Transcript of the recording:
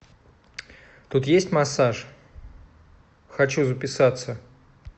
тут есть массаж хочу записаться